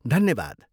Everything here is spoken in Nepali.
धन्यवाद!